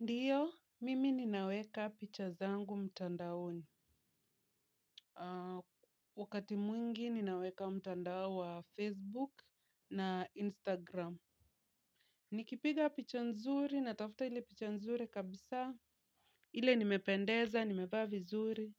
Ndio, mimi nina weka picha zangu mtandaoni. Wakati mwingi ninaweka mtandaoni wa Facebook na Instagram. Nikipiga picha nzuri, natafuta ile picha nzuri kabisa. Ile nimependeza, nimevaa vizuri,